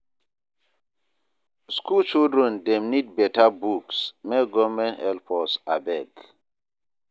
School children dem need better books, make government help us abeg